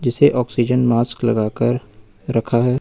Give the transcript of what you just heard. इसे oxygen mask लगाकर रखा है।